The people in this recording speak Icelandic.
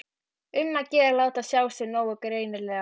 Um að gera að láta sjá sig nógu greinilega!